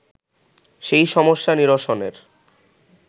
সেই সমস্যা নিরসনের